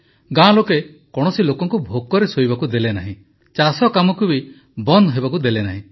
ଗାଁ ଲୋକେ କୌଣସି ଲୋକଙ୍କୁ ଭୋକରେ ଶୋଇବାକୁ ଦେଲେ ନାହିଁ ଚାଷକାମକୁ ବି ବନ୍ଦ ହେବାକୁ ଦେଲେ ନାହିଁ